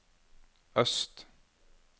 øst